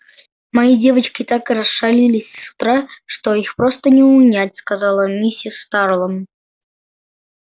мои девочки так расшалились с утра что их просто не унять сказала миссис тарлон